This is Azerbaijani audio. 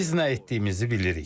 Biz nə etdiyimizi bilirik.